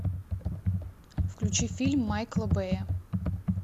включи фильм майкла бэя